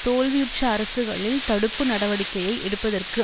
தோல்வியுற்ற அரசுகளில் தடுப்பு நடவடிக்கையை எடுப்பதற்கு